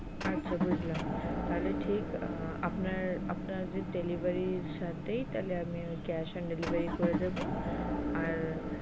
আচ্ছা বুজলাম তাহলে ঠিক আপনার আপনাদের delivery সাথেই তাহলে আমি cash and delivery দেব আর,